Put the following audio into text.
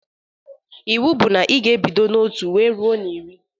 Iwu bụ na ị ga-ebido na otu wee ruo na iri!